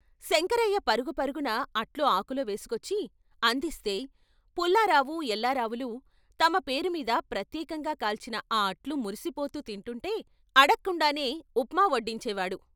శంకరయ్య పరుగు పరుగున అట్లు ఆకులో వేసుకొచ్చి అందిస్తే పుల్లారావు, ఎల్లారావులు తమ పేరుమీద ప్రత్యేకంగా కాల్చిన ఆ అట్లు మురిసిపోతూ తింటుంటే అడక్కండానే ఉప్మా వడ్డించే వాడు.